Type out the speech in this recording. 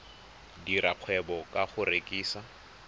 dira kgwebo ka go rekisa